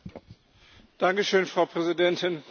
Frau Präsidentin, Frau Kommissarin!